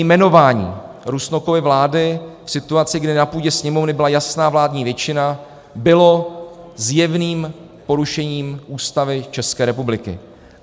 Jmenování Rusnokovy vlády v situaci, kdy na půdě Sněmovny byla jasná vládní většina, bylo zjevným porušením Ústavy České republiky.